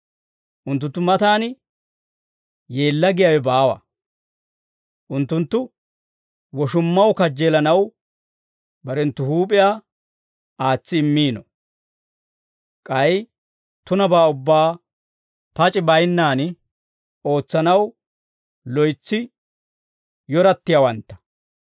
Unttunttu matan yeella giyaawe baawa; unttunttu woshummaw kajjeelanaw barenttu huup'iyaa aatsi immiino; k'ay tunabaa ubbaa pac'i bayinnaan ootsanaw loytsi yorattiyaawantta.